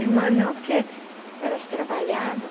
Irmã não, porque elas trabalhavam.